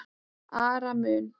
ar mun